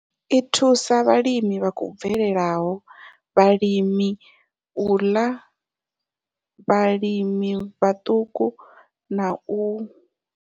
I thusa vhalimi vha khou bvelelaho, vhalimela u ḽa, vhalimi vhaṱuku na u.